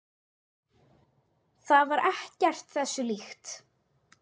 Það var ekkert þessu líkt.